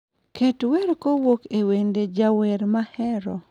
Ket wer kowuok e wende jawer mahero